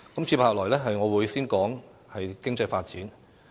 接下來，我會先談談經濟發展。